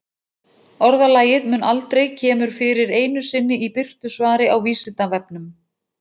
Orðalagið mun aldrei kemur fyrir einu sinni í birtu svari á Vísindavefnum.